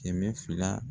Kɛmɛ fila